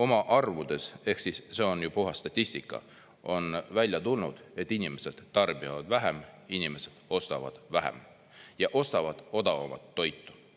oma arvudes – see on ju puhas statistika – on välja tulnud, et inimesed tarbivad vähem, inimesed ostavad vähem ja ostavad odavamat toitu.